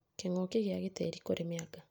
Kĩng'uki kĩa gĩtĩĩri kũrĩ mĩanga